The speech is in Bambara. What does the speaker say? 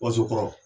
Waso kɔrɔ